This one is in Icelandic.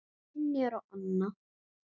Brynjar og Anna.